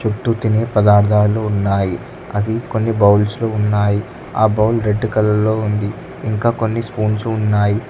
చుట్టూ తినే పదార్థాలు ఉన్నాయి అవి కొన్ని బౌల్స్ లో ఉన్నాయి ఆ బౌల్ రెడ్ కలర్ లో ఉంది ఇంకా కొన్ని స్పూన్సు ఉన్నాయి.